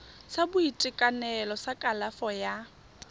sa boitekanelo sa kalafo ya